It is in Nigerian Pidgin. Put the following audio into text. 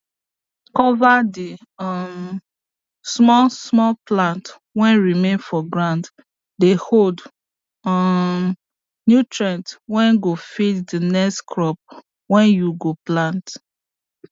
cover the um small small plant whey remain for ground dey hold um nutrients whey go feed the next crop whey you go plant